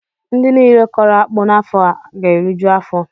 Ndị niile kọrọ akpụ n'afọ a ga-eriju afọ